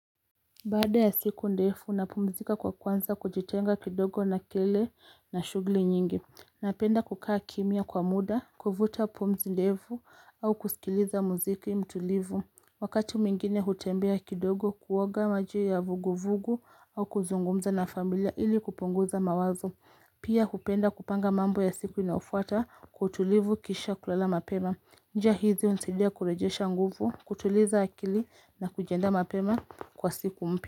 Baada ya siku ndefu napumzika kwa kuanza kujitenga kidogo na kelele na shughuli nyingi. Napenda kukaa kimya kwa muda, kuvuta pumzi ndevu au kusikiliza muziki mtulivu. Wakati mwingine hutembea kidogo kuoga majii ya vuguvugu au kuzungumza na familia ili kupunguza mawazo. Pia hupenda kupanga mambo ya siku inafuata kwa utulivu kisha kulala mapema. Njia hizi hunisaidia kurejesha nguvu, kutuliza akili na kujiandaa mapema kwa siku mpya.